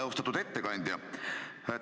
Austatud ettekandja!